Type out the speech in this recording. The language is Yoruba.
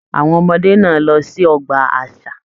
Àwọn ọmọdé náà lọ sí ọgbà àṣà.